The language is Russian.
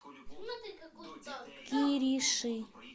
кириши